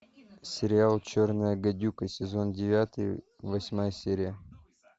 сериал черная гадюка сезон девятый восьмая серия